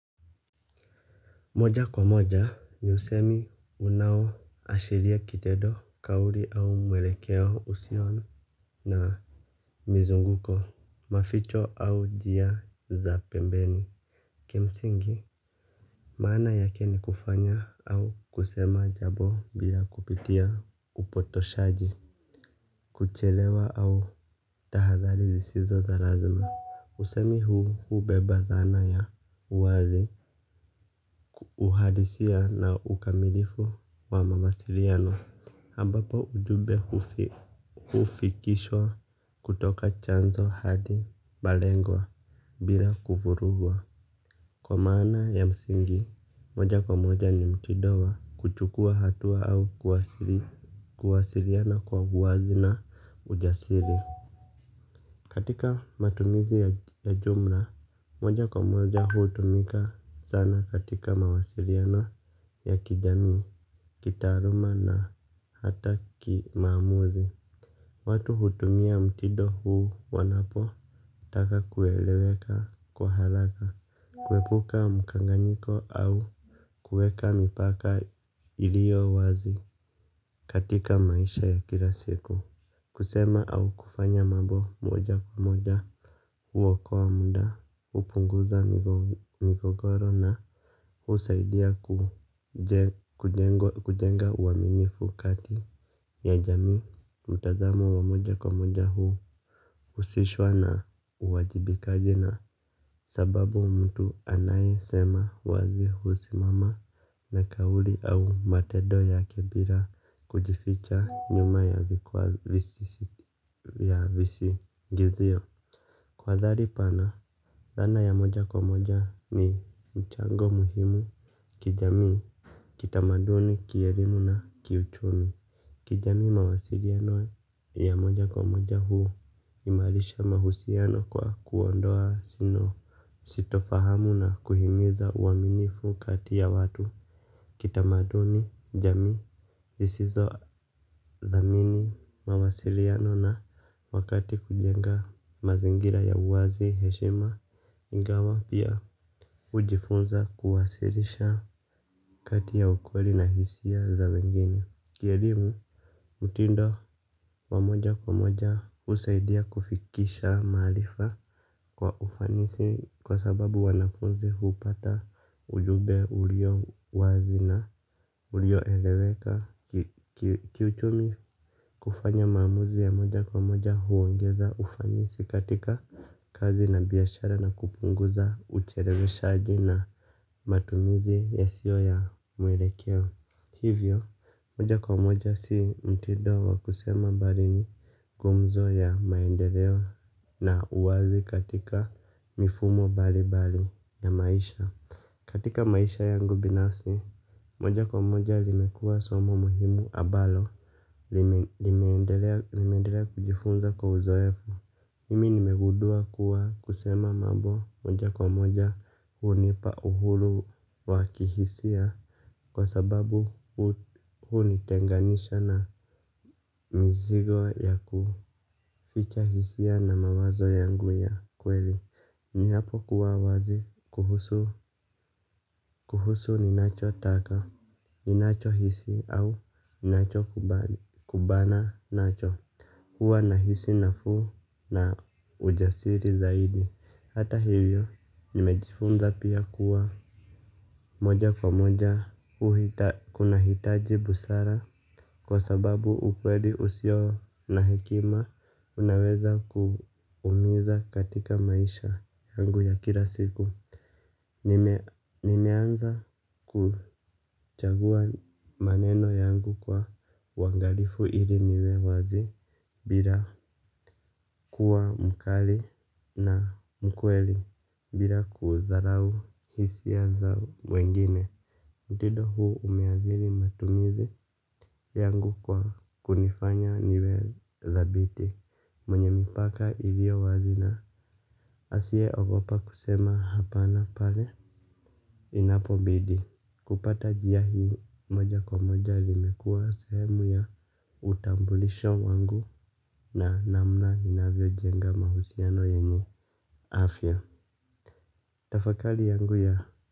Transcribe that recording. Moja kwa moja ni usemi unaoashiria kitendo kauli au mwelekeo usio na mizunguko maficho au njia za pembeni. Kimsingi maana yake ni kufanya au kusema jambo bila kupitia upotoshaji. Kuchelewa au tahadhari zisizo za lazima. Usemi huu huu hubeba dhana ya wazi. Uhadisia na ukamilifu wa mawasiliano ambapo ujumbe hufikishwa kutoka chanzo hadi malengwa bila kuvurugwa. Kwa maana ya msingi, moja kwa moja ni mtindo wa kuchukua hatua au kuwasiliana kwa uwazi na ujasiri. Katika matumizi ya jumla, moja kwa moja hutumika sana katika mawasiliano ya kijamii, kitaaluma na hata kimamuzi. Watu hutumia mtindo huu wanapotaka kueleweka kwa haraka, kuepuka mukanganyiko au kuweka mipaka ilio wazi katika maisha ya kila siku. Kusema au kufanya mambo moja kwa moja huokoa muda kupunguza migogoro na husaidia kujenga uaminifu kati ya jamii, mtazamo wa moja kwa moja huhusishwa na uwajibikaji na sababu mtu anayesema wazi husimama na kauli au matendo yake bila kujificha nyuma ya visingizio. Kwa dhali pana, dhana ya moja kwa moja ni mchango muhimu kijamii, kitamaduni, kielimu na kiuchumi. Kijami mawasiliano ya moja kwa moja huimarisha mahusiano kwa kuondoa sitofahamu na kuhimiza uaminifu kati ya watu kitamaduni jamii zisizo dhamini mawasiliano na wakati kujenga mazingira ya uwazi heshima ingawa pia hujifunza kuwasilisha kati ya ukweli na hisia za wengine. Kielimu, mtindo wa moja kwa moja husaidia kufikisha maarifa kwa ufanisi kwa sababu wanafuzi hupata ujumbe ulio wazi na ulioeleweka. Kiuchumi kufanya maamuzi ya moja kwa moja huongeza ufanisi katika kazi na biashara na kupunguza ucheleweshaji na matumizi yasiyo ya mwelekeo. Hivyo, moja kwa moja si mtindo wa kusema mbali ni gumzo ya maendeleo na uwazi katika mifumo mbali mbali ya maisha. Katika maisha yangu binafsi, moja kwa moja limekuwa somo muhimu ambalo limeendelea kujifunza kwa uzoefu mimi nimegundua kuwa kusema mambo moja kwa moja hunipa uhuru wa kihisia. Kwa sababu hunitenganisha na mizigo ya kuficha hisia na mawazo yangu ya kweli. Ni hapo kuwa wazi kuhusu ninachotaka. Ninachohisi au ninachokumbana nacho huwa nahisi nafuu na ujasiri zaidi. Hata hivyo nimejifunza pia kuwa moja kwa moja kunahitaji busara. Kwa sababu ukweli usio na hekima unaweza kuumiza katika maisha yangu ya kila siku. Nimeanza kuchagua maneno yangu kwa uangalifu ili niwe wazi bila kuwa mkali na mkweli bila kudharau hisia za wengine mtindo huu umeadhiri matumizi yangu kwa kunifanya niwe dhabiti mwenye mipaka ilio wazi na asie ogopa kusema hapana pale inapobidi kupata njia hii moja kwa moja limekua sehemu ya utambulisho wangu na namna ninavyojenga mahusiano yenye afya. Tafakari yangu ya.